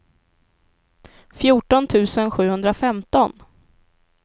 fjorton tusen sjuhundrafemton